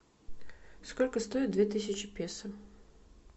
сколько стоит две тысячи песо